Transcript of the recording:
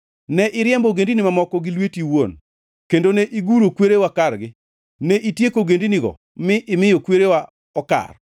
Ne iriembo ogendini mamoko gi lweti iwuon kendo ne iguro kwerewa kargi; ne itieko ogendinigo mi imiyo kwerewa okar.